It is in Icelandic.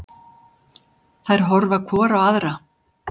Þær horfa hvor á aðra.